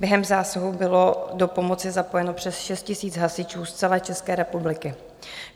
Během zásahu bylo do pomoci zapojeno přes 6 000 hasičů z celé České republiky.